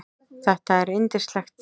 Þetta er yndislegt